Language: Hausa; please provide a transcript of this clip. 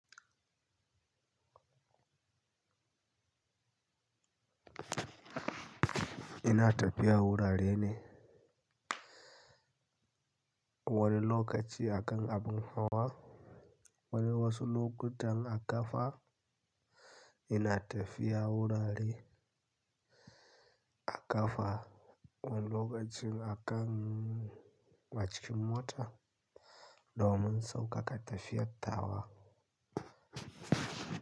Ina tafiya wurare ne, wani lokaci akan abin hawa, wani wasu lokutan a kafa. Ina tafiya wurare a kafa, wani lokacin akan a cikin mota, doman saukaka tafiyar tawa.